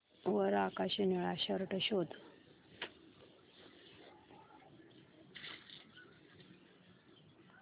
वर आकाशी निळा शर्ट शोध